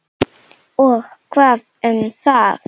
Og hvað um það!